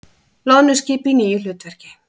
Loðnuskip í nýju hlutverki